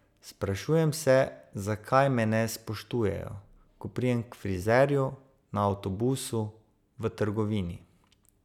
Sprašujem se, zakaj me ne spoštujejo, ko pridem k frizerju, na avtobusu, v trgovini.